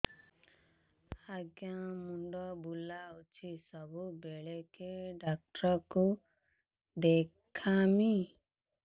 ଆଜ୍ଞା ମୁଣ୍ଡ ବୁଲାଉଛି ସବୁବେଳେ କେ ଡାକ୍ତର କୁ ଦେଖାମି